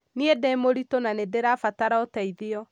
Nĩĩ ndĩmũritũ na nĩndĩrabatara ũteithio.